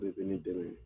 bɛ ne dɛmɛ